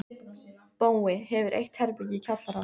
Bói hefur eitt herbergi í kjallaranum.